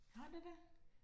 Har det det?